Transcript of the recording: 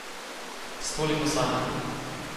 S toliko sanjami.